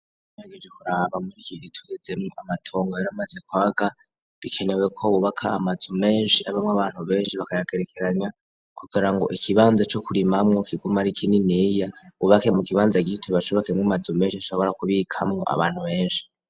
Ngerageje kuraba muri iki gihe tugezemwo amatongo yaramaze kwaga, bikenewe ko bubaka amazu menshi abamwo abantu benshi bakayagerekeranya kugira ngo ikibanza co kurimamwo kiguma ari kininiya, bubake mu kibanza gito bacubakemwo amazu menshi ashobora kubikamwo abantu benshi.